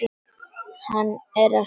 Hann er á sínum stað.